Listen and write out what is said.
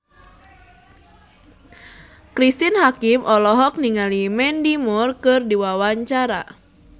Cristine Hakim olohok ningali Mandy Moore keur diwawancara